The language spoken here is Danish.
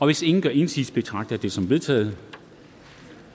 hvis ingen gør indsigelse betragter jeg det som vedtaget